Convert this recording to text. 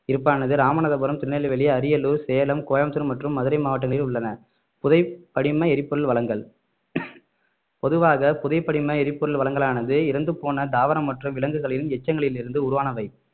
இருப்பானது ராமநாதபுரம் திருநெல்வேலி அரியலூர் சேலம் கோயம்புத்தூர் மற்றும் மதுரை மாவட்டங்களில் உள்ளன புதை படிம எரிபொருள் வளங்கள் பொதுவாக புதை படிம எரிபொருள் வளங்களானது இறந்துபோன தாவரம் மற்றும் விலங்குகளின் எச்சங்களிலிருந்து உருவானவை